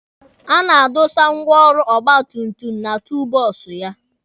A na-adọsa ngwaọrụ ọgba tum tum na tuulu bọksụ ya.